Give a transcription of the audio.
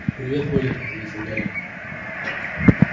привет колин ответил гарри